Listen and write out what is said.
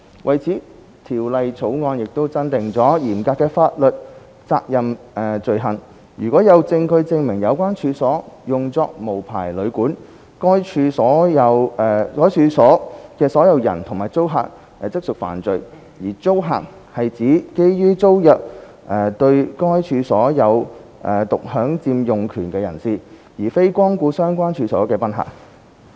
為此，《條例草案》增訂了嚴格法律責任罪行，如有證據證明有關處所用作無牌旅館，該處所的擁有人和租客即屬犯罪；而"租客"是指基於租約對該處所有獨享佔用權的人士，而非光顧相關處所的賓客。